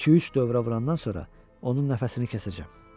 İki-üç dövrə vurandan sonra onun nəfəsini kəsəcəm.